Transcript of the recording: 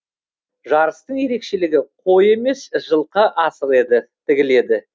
жарыстың ерекшелігі қой емес жылқы асығы тігіледі